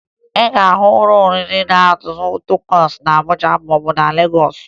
Ị ga-ahụ ụlọ oriri na-azụ takosu na Abuja maọbụ na Legọọsụ